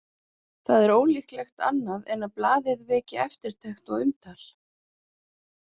Það er ólíklegt annað en blaðið veki eftirtekt og umtal.